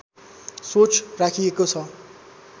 सोच राखिएको छ